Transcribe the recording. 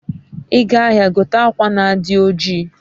iga ahia, gote akwa na adi oji